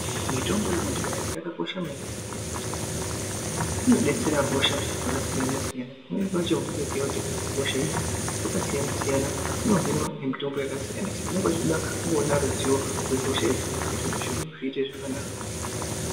Mitombo yekudhaya yakakosha maningi nenyaya yekuti inodetsera hosha dzakasiyana siyana pamweni pacho unotoziye kuti hosha idzi dzakasiyana siyana dzinohinwa nemitombo yakasiyana siyana unenge uchida kuona ruzivo rwehosha idzodzo kuitire kuti zviro zviite zvakanaka.